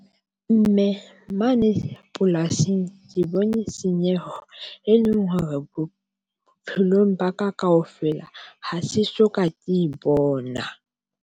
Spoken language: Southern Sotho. Mme mane polasing, ke bone senyeho, e leng hore bophelong ba ka kaofela, ha se soka, ke e bona jwang.